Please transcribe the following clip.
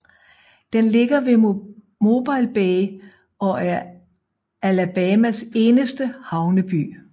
Den ligger ved Mobile Bay og er Alabamas eneste havneby